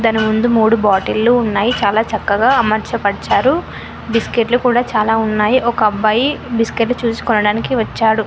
మన ముందు మూడు బాటిళ్లు ఉన్నాయి చాలా చక్కగా అమర్చబరచారు బిస్కెట్లు కూడా చాలా ఉన్నాయి ఒక అబ్బాయి బిస్కెట్లు చూసి కొనడానికి వచ్చాడు.